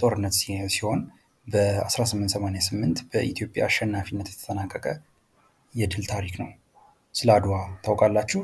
ጦርነት ሲሆን በ1888 በኢትዮጵያ አሸናፊነት የተጠናቀቀ የድል ታሪክ ነው። ስለ አድዋ ታውቃላችሁ?